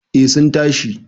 eh sun tashi